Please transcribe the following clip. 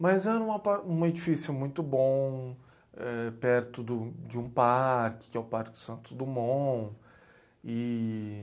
Mas era um par, um edifício muito bom, perto do, de um parque, que é o Parque Santos Dumont e...